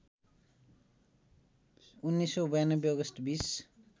१९९२ August २०